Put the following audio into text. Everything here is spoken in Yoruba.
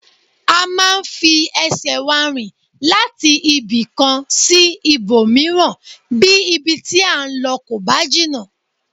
A máa ń fi ẹsẹ̀ wa rìn láti ibìkan sí ibòmíràn bí ibi tí à ń lọ kò bá jìnnà